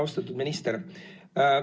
Austatud minister!